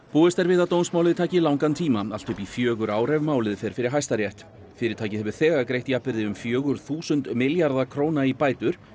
búist er við að dómsmálið taki langan tíma allt upp í fjögur ár ef málið fer fyrir Hæstarétt fyrirtækið hefur þegar greitt jafnvirði um fjögur þúsund milljarða króna í bætur